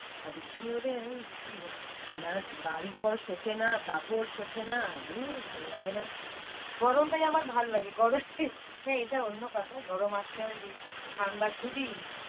বৃষ্টি হলে কি~বে বা~বাড়িঘর শোখায় না কাপড় শোখায় না। গরমটায় আমার ভাল্লাগেএটা অন্য কথা গরম আসলে আমি ঠাণ্ডা খুঁজি।